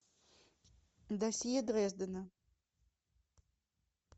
досье дрездена